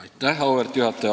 Auväärt juhataja!